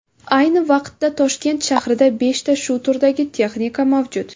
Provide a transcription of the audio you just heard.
Ayni vaqtda Toshkent shahrida beshta shu turdagi texnika mavjud.